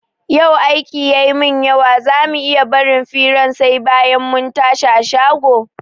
Yau aiki ya min yawa za mu iya barin firan sai bayan mun tashi a shago?